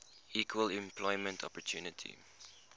equal employment opportunity